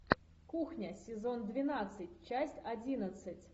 кухня сезон двенадцать часть одиннадцать